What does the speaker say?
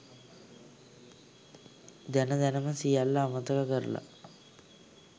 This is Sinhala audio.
දැන දැනම සියල්ල අමතක කරල